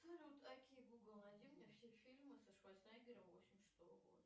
окей гугл найди мне все фильмы со шварценеггером восемьдесят шестого года